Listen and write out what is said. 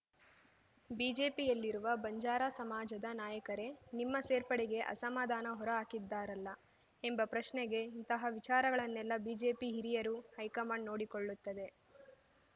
ಬಿಜೆಪಿಯಲ್ಲಿರುವ ಬಂಜಾರಾ ಸಮಾಜದ ನಾಯಕರೇ ನಿಮ್ಮ ಸೇರ್ಪಡೆಗೆ ಅಸಮಾಧಾನ ಹೊರಹಾಕಿದ್ದಾರಲ್ಲ ಎಂಬ ಪ್ರಶ್ನೆಗೆ ಇಂತಹ ವಿಚಾರಗಳನ್ನೆಲ್ಲ ಬಿಜೆಪಿ ಹಿರಿಯರು ಹೈಕಮಾಂಡ್‌ ನೋಡಿಕೊಳ್ಳುತ್ತದೆ